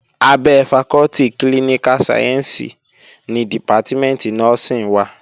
Abẹ́ fakọ́tì klíníká sayẹ̀nsì ni dìpátímẹ̀ntì nọ́ọ́sìn wà